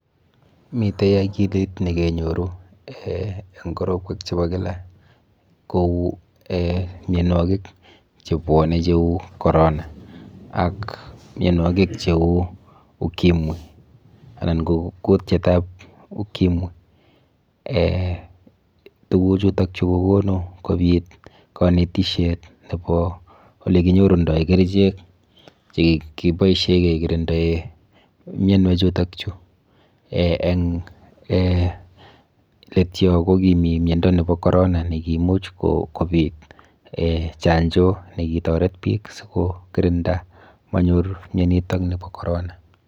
Miten akilit nekenyorunen korotwek chebo kilak Kou mionwokik chebwone cheu corona ak mionwokik cheu ukimwi anan ko kutietab ukimwi, tukuchutok chuu kokonu kobit konetisiet nebo olekinyorundo kerichek chekiboishen kekirindoen mionwek chutok chuu en leet yoon ko kimii miondo nekibo Corona nekiimuch kobiit chanjo nekitoret biik sikobiit ko kirinda manyor mionitok bo corona.